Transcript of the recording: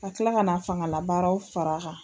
A tila ka na fangalabaaraw far'a kan.